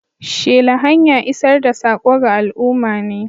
Shela hanya isar da saƙo ga al'umma ne.